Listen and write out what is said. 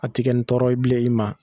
A ti kɛ nin tɔɔrɔ ye bilen